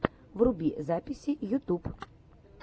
вруби записи ютуб